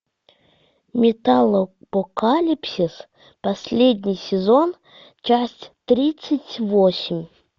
металлопокалипсис последний сезон часть тридцать восемь